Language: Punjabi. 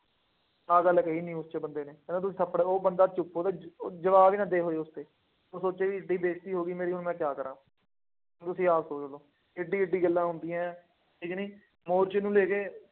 ਆਹ ਗੱਲ ਕਹੀ ਸੀ ਉਸ ਬੰਦੇ ਨੇ, ਕਹਿੰਦਾ ਤੁੰ ਥੱਪੜ, ਉਹ ਬੰਦਾ ਚੁੱਪ, ਉਹਦੇ ਉਹ ਜਵਾਬ ਹੀ ਨਾ ਦੇ ਹੋਏ ਉੱਥੇ, ਉਹਨੇ ਸੋਚਿਆ ਬਈ ਏਦਾਂ ਹੀ ਬੇਇੱਜ਼ਤੀ ਹੋ ਗਈ ਮੇਰੀ ਹੁਣ ਮੈਂ ਕਿਆ ਕਰਾਂ। ਤੁਸੀਂ ਆਪ ਸੁਣ ਲਉ, ਕਿੱਡੀ ਕਿੱਡੀ ਗੱਲਾਂ ਹੁੰਦੀਆਂ, ਇਹ ਜਿਹੜੇ ਮੋਰਚੇ ਨੂੰ ਲੈ ਕੇ